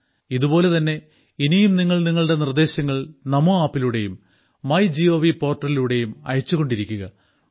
ഇതുപോലെ തന്നെ ഇനിയും നിങ്ങൾ നിങ്ങളുടെ നിർദ്ദേശങ്ങൾ നമോ ആപ്പിലൂടെയും മൈ ഗോവ് പോർട്ടലിലൂടെയും അയച്ചു കൊണ്ടിരിക്കുക